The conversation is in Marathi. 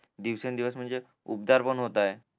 दिवसन दिवस म्हणजे उपदार पण होताय